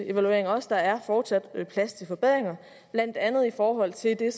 også at der fortsat er plads til forbedringer blandt andet i forhold til det